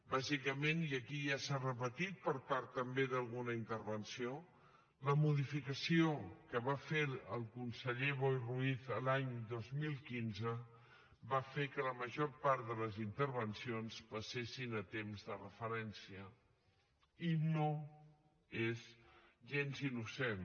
bàsicament i aquí ja s’ha repetit per part també d’alguna intervenció la modificació que va fer el conseller boi ruiz l’any dos mil quinze va fer que la major part de les intervencions passessin a temps de referència i no és gens innocent